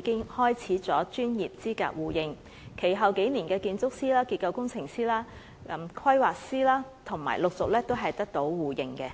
經開始專業資格互認。其後數年，建築師、結構工程師、規劃師也陸續得到互認。